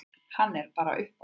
Hann er bara upp á við.